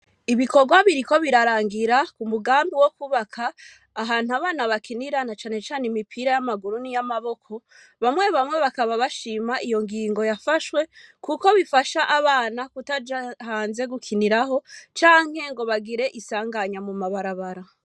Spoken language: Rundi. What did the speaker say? Ibikorwa biriko birarangira ku mugambi wo kubaka ahantu abana bakinirana canecane imipira y'amaguru n'i y'amaboko bamwe bamwe bakaba bashima iyo ngingo yafashwe, kuko bifasha abana kutajahanze gukiniraho canke ngo bagire isanganya mu mabarabara.